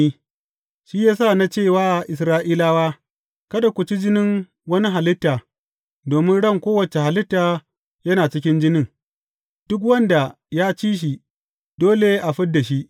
Shi ya sa na ce wa Isra’ilawa, Kada ku ci jinin wani halitta, domin ran kowace halitta yana cikin jinin; duk wanda ya ci shi dole a fid da shi.